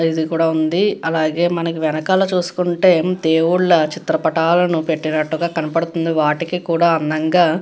ఇది కూడా ఉంది అలాగే మనకి వెనకాల చుసుకుంటే దేవుళ్ల చిత్ర పటాలను పెట్టినట్టు గా కనపడుతుంది వాటికి కూడా అందంగా --